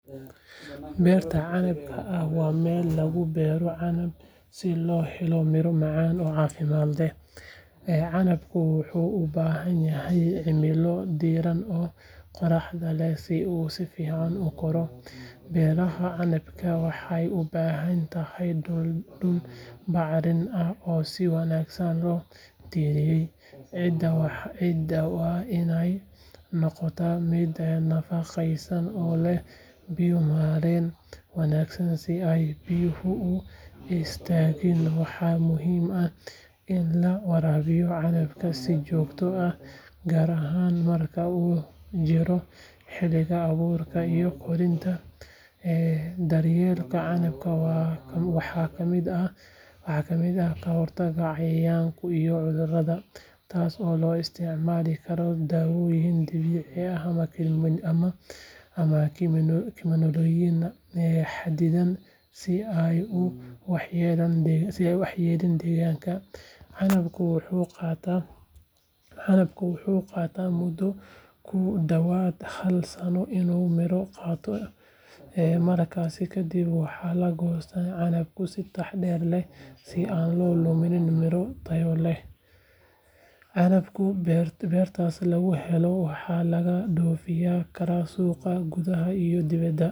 Beerta canabka ah waa meel lagu beero canab si loo helo miro macaan oo caafimaad leh, canabku wuxuu u baahan yahay cimilo diiran oo qorraxda leh si uu si fiican u koro. Beerashada canabka waxay u baahan tahay dhul bacrin ah oo si wanaagsan loo diyaariyay, ciidda waa inay noqotaa mid nafaqaysan oo leh biyo-mareen wanaagsan si aanay biyuhu u istaagin. Waxaa muhiim ah in la waraabiyo canabka si joogto ah, gaar ahaan marka uu jirro xilliga abuurka iyo koritaanka. Daryeelka canabka waxaa ka mid ah ka hortagga cayayaanka iyo cudurrada, taas oo loo isticmaali karaa daawooyin dabiici ah ama kiimikooyin xaddidan si aanay u waxyeeleyn deegaanka. Canabku wuxuu qaataa muddo ku dhawaad hal sano inuu miro qaato, markaas kadib waxaa la goostaa canabka si taxadar leh si aan la u lumin miro tayo leh. Canabka beertaas laga helo waxaa laga dhoofin karaa suuqa gudaha iyo dibadda.